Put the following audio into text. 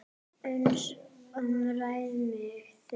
uns að æðsta miði